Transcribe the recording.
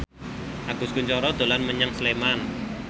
Agus Kuncoro dolan menyang Sleman